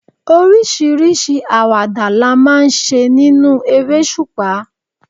Oríṣiríṣi àwàdà la máa ń ṣe nínú eresupa.